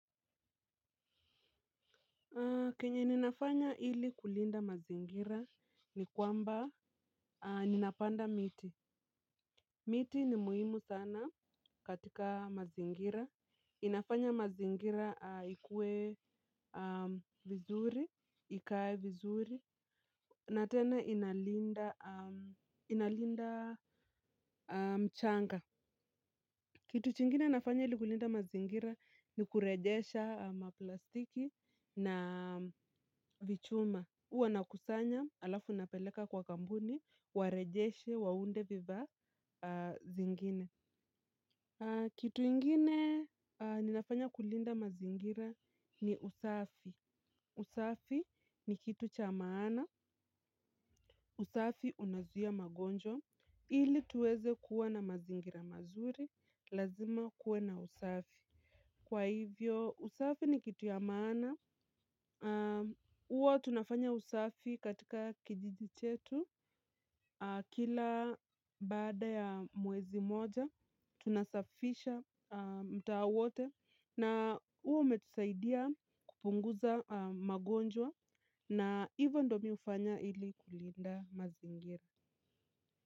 Kenye ninafanya ili kulinda mazingira ni kwamba ninapanda miti. Miti ni muhimu sana katika mazingira. Inafanya mazingira ikuwe vizuri, ikae vizuri. Na tena inalinda inalinda mchanga. Kitu kingine nafanya ili kulinda mazingira ni kurejesha maplastiki na vichuma. Huwa nakusanya, halafu napeleka kwa kampuni, warejeshe, waunde vifaa zingine. Kitu ingine ninafanya kulinda mazingira ni usafi. Usafi ni kitu cha maana, usafi unazuia magonjwa, ili tuweze kuwa na mazingira mazuri, lazima kuwe na usafi. Kwa hivyo, usafi ni kitu ya maana. Huwa tunafanya usafi katika kijiji chetu kila baada ya mwezi moja. Tunasafisha mtaa wote na huo umetusaidia kupunguza magonjwa na hivo ndo mi hufanya ili kulinda mazingira.